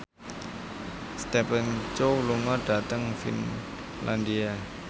Stephen Chow lunga dhateng Finlandia